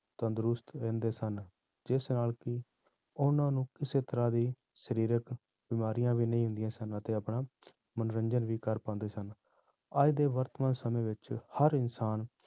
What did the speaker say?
ਤੰਦਰੁਸਤ ਰਹਿੰਦੇ ਸਨ ਜਿਸ ਨਾਲ ਕਿ ਉਹਨਾਂ ਨੂੰ ਕਿਸੇ ਤਰ੍ਹਾਂ ਦੀ ਸਰੀਰਕ ਬਿਮਾਰੀਆਂ ਵੀ ਨਹੀਂ ਹੁੰਦੀਆਂ ਸਨ ਅਤੇੇ ਆਪਣਾ ਮਨੋਰੰਜਨ ਵੀ ਕਰ ਪਾਉਂਦੇ ਸਨ, ਅੱਜ ਦੇ ਵਰਤਮਾਨ ਸਮੇਂ ਵਿੱਚ ਹਰ ਇਨਸਾਨ